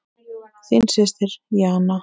Þín systir Jana.